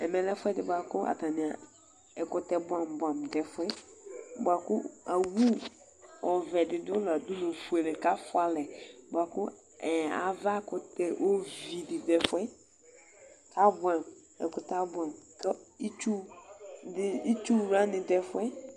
Ɛmɛ lɛ ɛfʋedi bʋaku ɛkʋtɛ bʋɛamʋ bʋɛamʋ dʋ ɛfʋ yɛ kʋakʋ awʋ ɔvɛdi dʋ nʋ adulu fuele kʋ afʋa ɛlɛ bʋakʋ avakʋtɛ ovidi dʋ ɛfʋ yɛ kʋ abʋɛamʋ ɛkʋtɛ abʋɛamʋ ŋtɔ itsubwani dʋ ɛfʋ yɛ